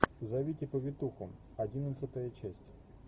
зовите повитуху одиннадцатая часть